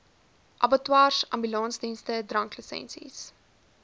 abattoirs ambulansdienste dranklisensies